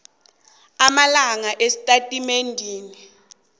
amala esitatimendeni esinje